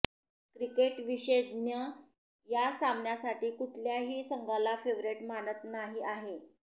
cricket विशेषज्ञ या सामन्यासाठी कुठल्याही संघाला फेवरेट मानत नाही आहे